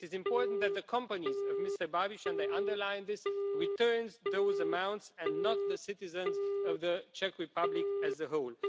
It is important that the companies of Mr Babiš and I underline this return those amounts, and not the citizens of the Czech Republic as a whole.